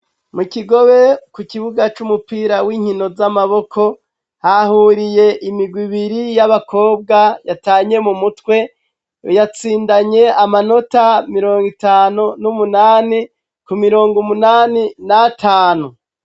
Mu kigobe ku kibuga c'umupira w'inkino z'amaboko hahuriye imigwa ibiri y'abakobwa yatanye mu mutwe yatsindanye amanota mirongo itanu n'umunani ku mirongo umunani na tanu.